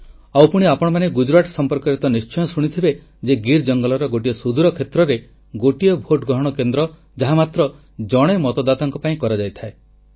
ଆଉ ପୁଣି ଆପଣମାନେ ଗୁଜରାଟ ସଂପର୍କରେ ତ ନିଶ୍ଚୟ ଶୁଣିଥିବେ ଯେ ଗୀର ଜଙ୍ଗଲର ଗୋଟିଏ ସୁଦୂର କ୍ଷେତ୍ରରେ ଗୋଟିଏ ଭୋଟ ଗ୍ରହଣ କେନ୍ଦ୍ର ଯାହା ମାତ୍ର ଜଣେ ମତଦାତାଙ୍କ ପାଇଁ କରାଯାଇଥାଏ